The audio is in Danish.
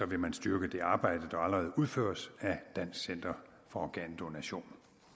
vil man styrke det arbejde der allerede udføres af dansk center for organdonation